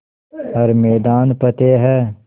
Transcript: हर मैदान फ़तेह